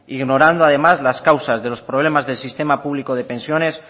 ignorando además las causas de los problemas del sistema público de pensiones